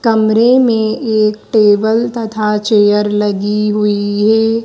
कमरे में एक टेबल तथा चेयर लगी हुई है।